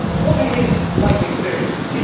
What are his life experiences?